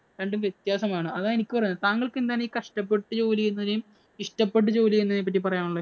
രണ്ടും വ്യത്യാസമാണ്. അതാ എനിക്കു പറയാനുള്ളത്. താങ്കള്‍ക്ക് എന്താണ് ഈ കഷ്ടപ്പെട്ട് ജോലി ചെയ്യുന്നവരെയും, ഇഷ്ടപ്പെട്ടു ജോലി ചെയ്യുന്നവരെയും പറ്റി പറയാനുള്ളത്.